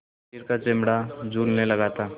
शरीर का चमड़ा झूलने लगा था